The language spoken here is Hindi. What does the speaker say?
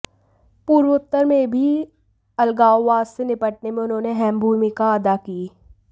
पूर्वोत्तर में भी अलगाववाद से निपटने में उन्होंने अहम भूमिका अदा की